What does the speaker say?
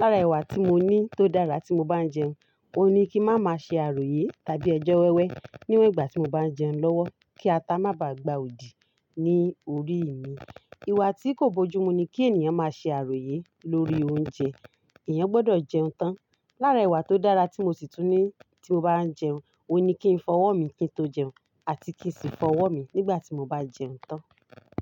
Lára ìwà tí mo ní tó dára tí mo bá ń jẹun, òun ni kí n má má ṣe àròyé tàbí ẹjọ́ wẹ́wẹ́ níwọ̀n ìgbà tí mo bá ń jẹun lọ́wọ́ kí ata má bá gba òdì ní orí mi. Ìwà tí kò bójú mu ni kí ènìyàn má ṣe àròyé lórí oúnjẹ, ènìyàn gbọdọ̀ jẹun tán. Lára ìwà tó dára tí mo sì tún ní tí mo bá ń jẹun, òní kí n fọwọ́ mi kí n tó jẹun àti kí sì fọwọ́ mi nígbà tí mo bá jẹun tán.